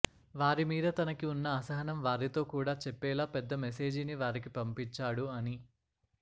వారిమీద తనకి ఉన్న అసహనం వారితో కూడా చెప్పేలా పెద్ద మెసేజీ ని వారికి పంపించాడు అని